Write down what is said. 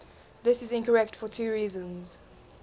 this is incorrect for two reasons